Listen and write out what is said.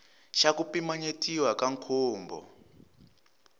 xa ku pimanyetiwa ka nkhumbo